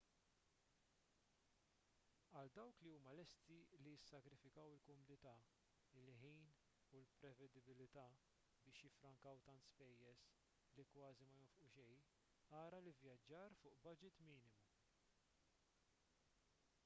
għal dawk li huma lesti li jissagrifikaw il-kumdità il-ħin u l-prevedibbiltà biex jifrrankaw tant spejjeż li kważi ma jonfqu xejn ara l-ivvjaġġar fuq baġit minimu